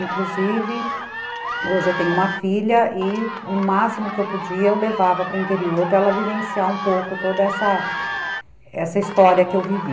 Inclusive, hoje eu tenho uma filha e o máximo que eu podia eu levava para o interior para ela vivenciar um pouco toda essa essa história que eu vivi.